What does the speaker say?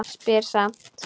Spyr samt.